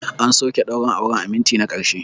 An soke daurin auren a minti na ƙarshe.